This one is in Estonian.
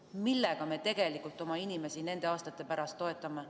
Millega me tegelikult oma inimesi aastate pärast toetame?